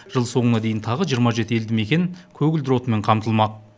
жыл соңына дейін тағы жиырма жеті елді мекен көгілдір отынмен қамтылмақ